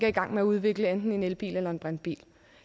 i gang med at udvikle enten en elbil eller en brintbil